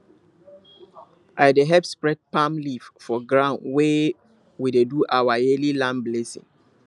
i dey help spread palm leaf for ground when we dey do our yearly land blessing